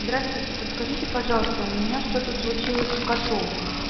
здравствуйте подскажите пожалуйста у меня что-то случилось с котом